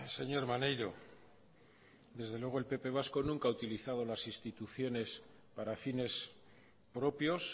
señor maneiro desde luego el pp vasco nunca ha utilizado las instituciones para fines propios